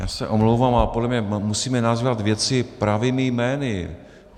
Já se omlouvám, ale podle mě musíme nazývat věci pravými jmény.